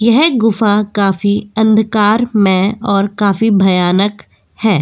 यह गुफा काफी अंधकारमय और काफी भयानक है।